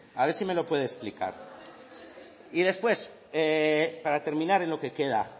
a ver si me lo puede explicar y después para terminar en lo que queda